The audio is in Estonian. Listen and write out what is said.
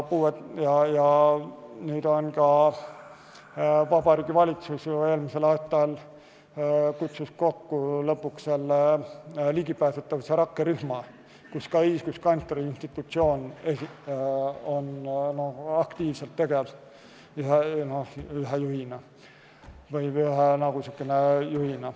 Vabariigi Valitsus eelmisel aastal kutsus kokku lõpuks ligipääsetavuse rakkerühma, kus ka õiguskantsleri institutsioon on aktiivselt tegev.